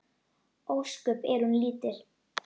Ósköp er hún lítil.